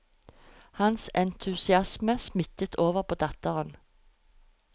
Hans entusiasme smittet over på datteren.